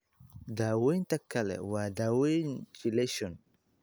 Daawaynta kale waa daawaynta chelation.